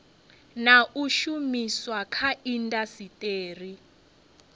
na u shumiswa kha indasiteri